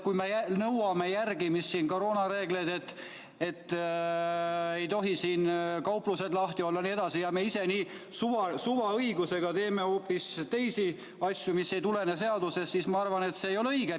Kui me nõuame koroonareeglite järgimist, ütleme, et ei tohi kauplused lahti olla jne, aga ise teeme niimoodi suvaõigusega hoopis teisi asju, mis ei tulene seadusest, siis ma arvan, et see ei ole õige.